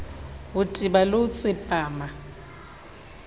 ho teba le ho tsepama